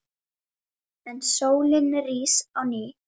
En sólin rís á ný.